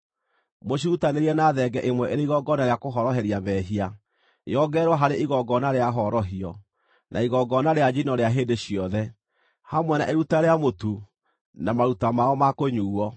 Mũcirutanĩrie na thenge ĩmwe ĩrĩ igongona rĩa kũhoroheria mehia, yongererwo harĩ igongona rĩa horohio, na igongona rĩa njino rĩa hĩndĩ ciothe, hamwe na iruta rĩa mũtu, na maruta mao ma kũnyuuo.